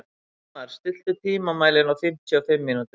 Friðmar, stilltu tímamælinn á fimmtíu og fimm mínútur.